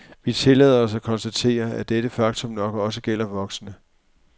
Vi tillader os at konstatere, at dette faktum nok også gælder voksne.